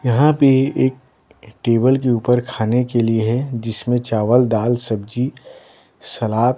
यहाँ पे एक टेबल के ऊपर खाने के लिए है जिसमें चावल दाल सब्जी सलाद--